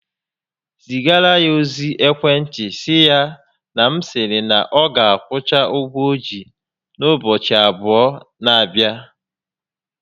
Zigara ya ozi ekwentị sị ya na m sịrị na ọ ga akwụcha ụgwọ o ji n'ụbọchị abụọ n'abịa